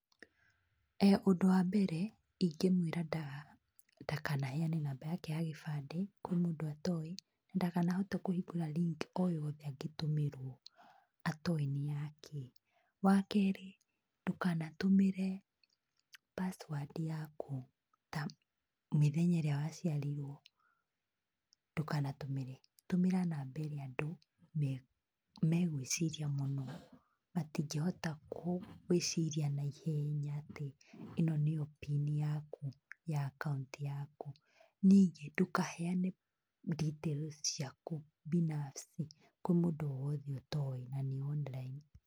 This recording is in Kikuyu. [ehh]ũndũ wa mbere ingĩmwĩra ndakaneane namba yaje ya kĩbande kwĩ mũndũ atoĩ ndakanahote kũhingũra link oyothe angĩtũmĩrwo atoĩ nĩyakĩ, wakerĩ ndũkanatũmĩre password yaku ta mĩthenya ĩrĩa waciarirwo ndũkanatũmĩre, tũmĩra namba ĩrĩa andũ megwĩciarĩa mũno matingĩhota gwĩciria na ihenya atĩ ĩno nĩyo pin yaku ya account yaku ,ningĩ ndũkaneane details ciaku binafsi kwa mũndũ owothe ũtoĩ online.